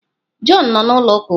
Jọn nọ na ụlọ uka ugbụa.